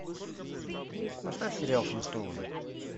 поставь сериал флинстоуны